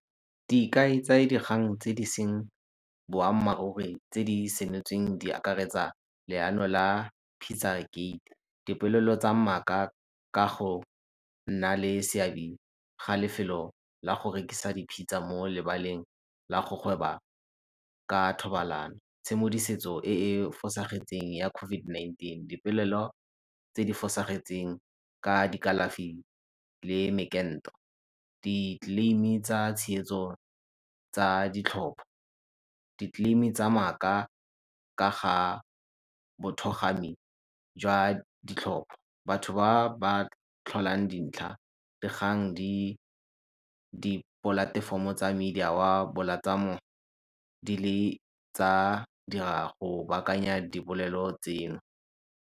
Dikai tsa dikgang tse di e seng boammaaruri tse di senotsweng di akaretsa leano la , dipolelo tsa maaka ka go nna le seabe ga lefelo la go rekisa di-pizza mo lebaleng la go gweba ka thobalano. e e fosagetseng ya COVID-19, dipolelo tse di fosagetseng ka dikalafi le , di-claim-e tsa tshegetso tsa ditlhopha, di-claim-e tsa maaka ga ga jwa ditlhopha. Batho ba ba tlholang dintlha dikgang di di dipolatefomo tsa media wa di le tsa go baakanya dibolelo tseno.